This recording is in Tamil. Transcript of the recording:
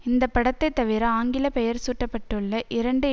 இந்த படத்தை தவிர ஆங்கில பெயர் சூட்டப்பட்டுள்ள இரண்டு